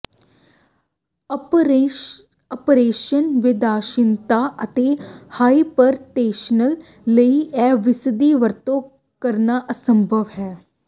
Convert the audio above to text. ਅਪਰਸੰਵੇਦਨਸ਼ੀਲਤਾ ਅਤੇ ਹਾਈਪਰਟੈਨਸ਼ਨ ਲਈ ਵੀ ਇਸਦੀ ਵਰਤੋਂ ਕਰਨਾ ਅਸੰਭਵ ਹੈ